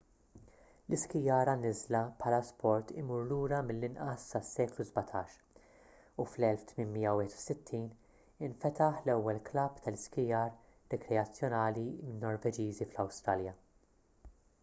l-iskijar għan-niżla bħala sport imur lura mill-inqas sas-seklu 17 u fl-1861 infetaħ l-ewwel klabb tal-iskijar rikreazzjonali min-norveġiżi fl-awstralja